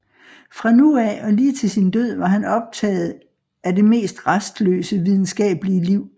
Fra nu af og lige til sin død var han optagen af det mest rastløse videnskabelige liv